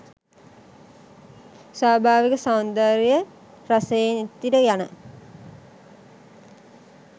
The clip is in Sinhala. ස්වාභාවික සෞන්දර්ය රසයෙන් ඉතිර යන